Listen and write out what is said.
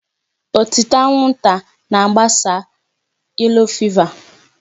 Ọtịta anwụnta na-agbasa yellow fever.